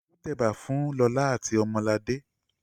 Olu tẹ ẹ̀bà fún Lọlá àti Ọmọladé.